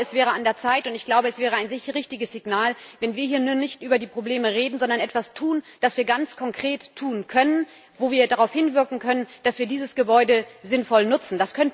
Aber ich glaube, es wäre an der Zeit und es wäre ein richtiges Signal, wenn wir hier nicht nur über die Probleme reden, sondern etwas tun, das wir ganz konkret tun können, wo wir darauf hinwirken können, dass wir dieses Gebäude sinnvoll nutzen.